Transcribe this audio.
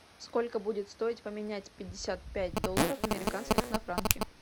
сколько будет стоить поменять пятьдесят пять долларов американских на франки